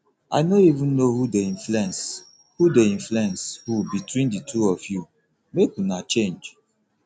i no even know who dey influence who dey influence who between the two of you make una change